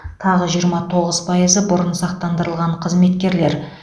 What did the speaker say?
тағы жиырма тоғыз пайызы бұрын сақтандырылған қызметкерлер